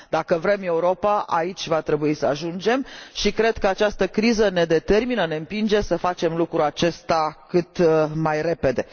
Dacă vrem Europa, aici va trebui să ajungem și cred că această criză ne determină, ne împinge să facem lucrul acesta cât mai repede.